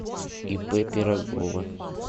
ип пирогова